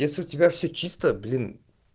если у тебя все чисто блин